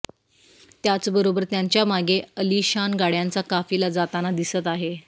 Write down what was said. त्याचबरोबर त्यांच्या मागे अलिशान गाड्यांचा काफिला जाताना दिसत आहे